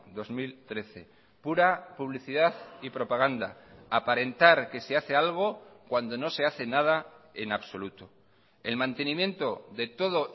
dos mil trece pura publicidad y propaganda aparentar que se hace algo cuando no se hace nada en absoluto el mantenimiento de todo